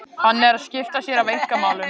Hann er að skipta sér af einkamálum